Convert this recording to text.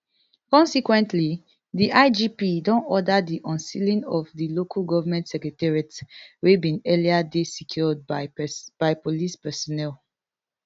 consequently di igp don order di unsealing of di local government secretariats wey bin earlier dey secured by police personnel